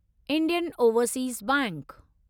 Indian Overseas bank